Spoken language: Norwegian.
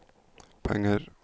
penger